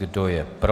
Kdo je pro?